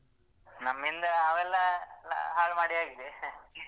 ನಮ್ಮಿಂದ ಅವೆಲ್ಲ ಹಾಳುಮಾಡಿ ಆಗಿದೆ